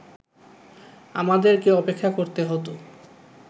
আমাদেরকে অপেক্ষা করতে হত